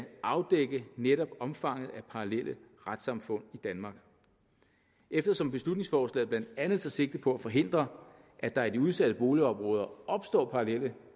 afdække netop omfanget af parallelle retssamfund i danmark eftersom beslutningsforslaget blandt andet tager sigte på at forhindre at der i de udsatte boligområder opstår parallelle